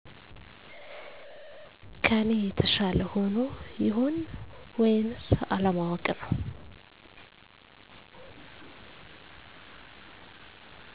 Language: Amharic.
ከኔ የተሻለ ሆኖ ይሆን ወይንስ አለማወቅ ነው